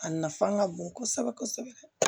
A nafa ka bon kosɛbɛ kosɛbɛ